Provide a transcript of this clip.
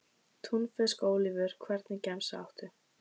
Túnfisk og ólívur Hvernig gemsa áttu?